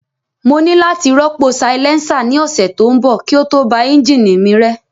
Mo ní láti rọ́pò silencer ní ọ̀sẹ̀ tó ń bọ̀ kí ó tó ba ẹ́ńjìnì mi rẹ́